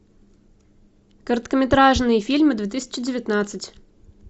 короткометражные фильмы две тысячи девятнадцать